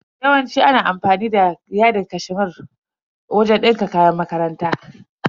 Yawanci ana amfani da yadin cashmere wajen dinka kayan makaranta.